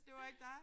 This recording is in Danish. Det var ikke dig?